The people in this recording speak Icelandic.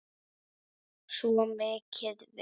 Svo mikið veit